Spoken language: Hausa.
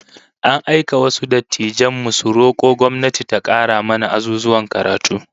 An aika wasu dattijan mu su roko gwamnati ta kara mana azuzuwan karatu